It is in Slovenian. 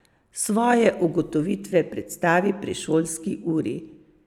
Svoje ugotovitve predstavi pri šolski uri.